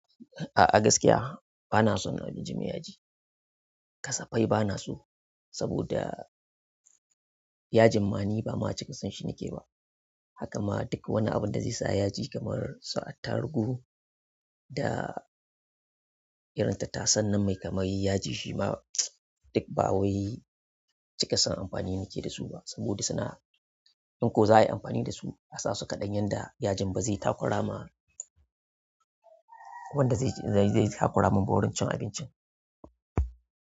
A gaskiya bana son abinci mai yaji kasa fai bana so, saboda, yajin ma ni ba ma cika son shi nake ba haka ma duk abin da zai sa yaji kamar irin su attaruhu, da irin tattasain nan mai kamar yaji shima duk ba wai cika son amfani nake da su ba saboda suna, in ko za a yi amfani da su a sa su kaɗan yanda yajin ba zai takura ma, wanda zai takura min ba wurin cin abincin.